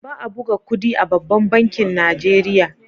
Ba a buga kudi a babban bankin Nijeriya.